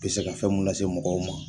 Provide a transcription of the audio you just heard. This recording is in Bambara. I bɛ se ka fɛn mun lase mɔgɔw ma